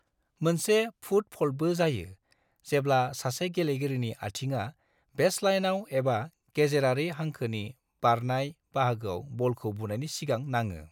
मोनसे 'फुट फल्ट'बो जायो जेब्ला सासे गेलेगिरिनि आथिङा बेसलाइनाव एबा गेजेरारि हांखोनि बारायनाय बाहागोआव बलखौ बुनायनि सिगां नाङो।